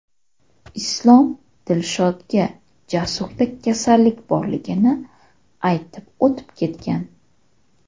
Islom Dilshodga Jasurda kasallik borligini aytib, o‘tib ketgan.